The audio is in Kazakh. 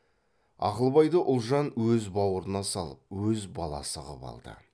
ақылбайды ұлжан өзі баурына салып өз баласы қып алды